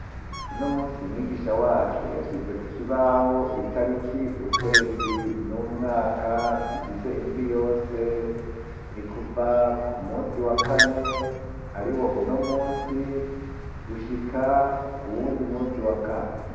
Uno munsi mwigisha wacu yashize kukibaho itariki, ukwezi n'umwaka bigize indwi yose, ni kuva ku munsi wa kane ariwo uno munsi, gushika ku wundi munsi wa kane.